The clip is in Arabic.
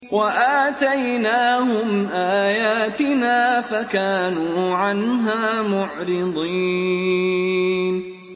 وَآتَيْنَاهُمْ آيَاتِنَا فَكَانُوا عَنْهَا مُعْرِضِينَ